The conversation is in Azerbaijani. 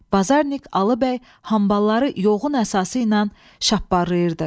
Bazarnik Alı bəy hambalları yoğun əsası ilə şapparlayırdı.